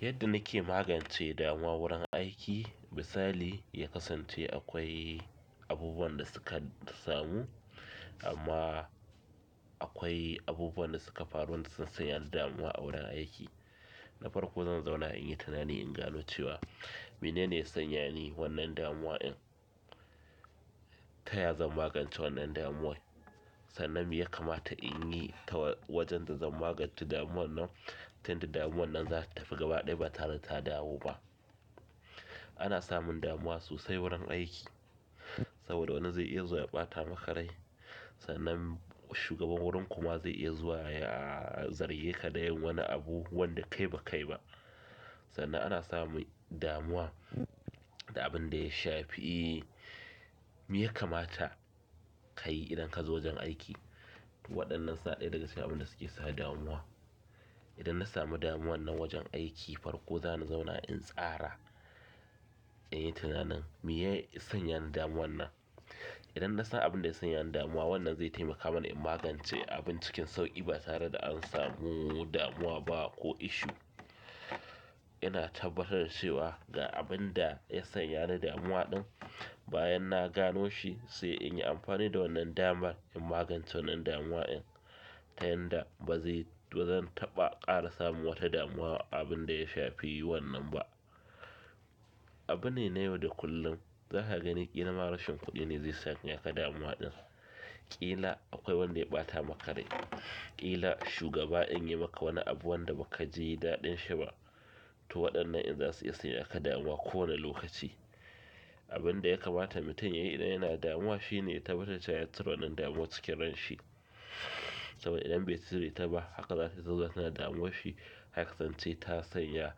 Yadda na ke magance damuwa wurin aiki misali, ya kasance akwai abubuwan da suka samu amma akwai abubuwan da suka faru da sun sanya ni damuwa a wurin aiki. Na farko zan zauna in yi tunani inga nuciwa mene ne ya sanya ni wannan damuwa in taya zan magance wannan damuwa. Sannan me ya kamata in yi ta wajen da zan magance damuwa nan? Tin damuwa nan za ta tafi gaba ɗaya ba tare da ta dawo ba. Ana samun damuwa sosai wurin aiki saboda wani zai iya zuwa ya ɓata makarai sannan shugaban wurin kuma zai iya zuwa ya zarge ka da yin wani abu wanda kai ba kai ba. Sannan ana samun damuwa da abin da ya shafi me ya kamata. Ka yi idan ka zo wajen aiki. Waɗannan sa ɗaya daga cikin abin da suke sa damuwa. Idan na samu damuwa nan wajen aiki farko za ni zauna in tsara, in yi tunanin me ya sanya ni damuwa nan. Idan na san abin da ya sanya ni damuwa wannan zai taimaka mani in magance abin cikin sauƙi ba tare da an samu damuwa ba ko issue. Ina tabbatar da cewa ga abin da ya sanya ni damuwa ɗin bayan na gano shi sai in yi amfani da wannan damar in magance wannan damuwa in tayin da ba zan taɓa ƙara samun wata damuwa abin da ya shafi wannan ba. Abune na yau da kullum za ka gani ƙila marushen kuɗi ne zai sanya ka damuwa ɗin, ƙila akwai wanda ya ɓata makarai, ƙila shugaba in yi maka wani abu wanda ba ka ji daɗin shi ba. To waɗannan in za su iya sanya ka damuwa ko wane lokaci. Abin da ya kamata mutum ya yi idan yana damuwa shine ya tabbatar cewa ya ciro wannan damuwa cikin ranshi saboda idan bai cire ta ba haka za ta zama tana damuwa shi har ka kasance ta sanya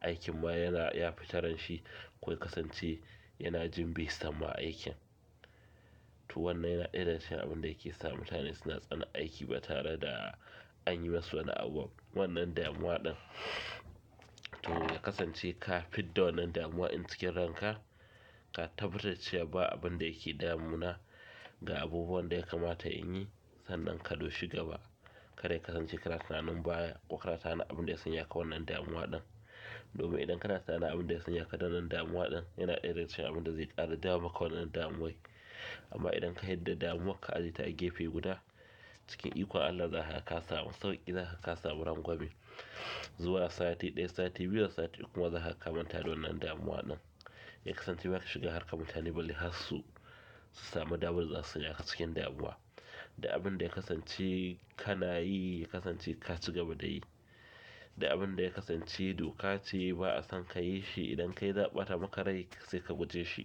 aikin ma yana ya fi taranshi ko ka kasance yana jin bai samu aikin. To wannan yana ɗaya daga cikin abin da yake sa mutane suna tsana aiki ba tare da an yi masu wani abu. Wannan damuwa ɗin, to ya kasance ka fid da wannan damuwa in cikin ranka, ka tabbatar cewa ba abin da yake damun na ga abubuwan da ya kamata in yi sannan ka doshi gaba. Kar yakasan ce kana tunanin baya ko kana tunani abunda ya sanya ka wannan damuwa ɗin domin idan kana tunanin abunda ya sanya ka wannan damuwan ɗin yana ɗaya daga cikin abun da zai ƙara ma damuwan amman idan ka yarda damuwa ka ajiye ta alokaci guda. Cikin ikon Allah za ka samu sauƙi, za ka samu rangwame. Zuwa sati ɗaya, sati biyu da sati uku ma za ka kamata da wannan damuwa nan. Ya kasance baki shiga har ka mutane bali har su, su samu damuwar za su sanya ka cikin damuwa. Da abin da ya kasance ka na yi, ya kasance ka ci gaba da yi. Da abin da ya kasance duka ce ba'a son ka yi shi idan kai za'a ɓata makarai sai ka guje shi.